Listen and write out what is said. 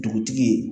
Dugutigi